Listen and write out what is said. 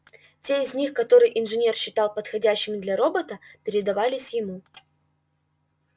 те из них которые инженер считал подходящими для робота передавались ему